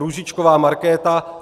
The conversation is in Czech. Růžičková Markéta